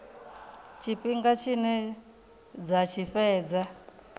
tshifhinga tshine dza tshi fhedza